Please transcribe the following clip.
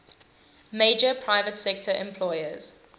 major private sector employers